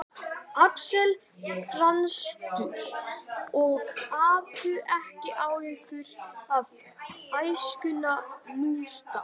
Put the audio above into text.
Axel frjálslyndur og hafði ekki áhyggjur af æskunni nútildags